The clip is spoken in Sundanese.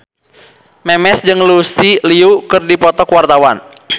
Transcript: Memes jeung Lucy Liu keur dipoto ku wartawan